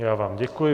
Já vám děkuji.